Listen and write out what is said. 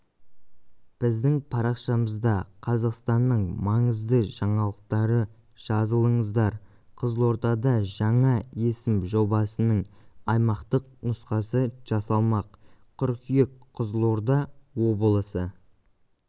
біздің парақшамызда қазақстанның маңызды жаңалықтары жазылыңыздар қызылордада жаңа есім жобасының аймақтық нұсқасы жасалмақ қыркүйек қызылорда облысы